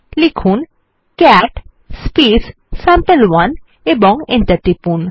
লিখুন ক্যাট সাম্পে1 এবং এন্টার টিপুন